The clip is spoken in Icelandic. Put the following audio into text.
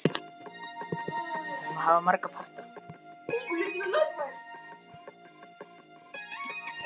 Víkingur Jóhannsson vorum saman í ferðum þangað.